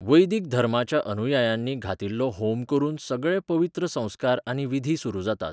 वैदीक धर्माच्या अनुयायांनी घातिल्लो होम करून सगळे पवित्र संस्कार आनी विधी सुरू जातात.